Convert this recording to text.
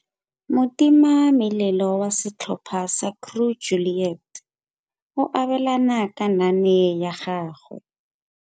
Motimamelelo wa setlhopha sa Crew Juliet o abelana ka naane ya gagwe.